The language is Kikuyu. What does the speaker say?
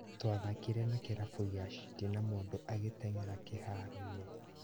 Twathakire na kĩrabu gĩa City na mũndũ agĩteng'era kĩharoo-inĩ